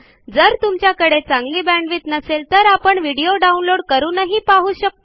जर तुमच्याकडे चांगली बॅण्डविड्थ नसेल तर आपण व्हिडिओ डाउनलोड करूनही पाहू शकता